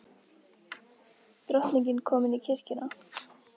Drottning komin í kirkjuna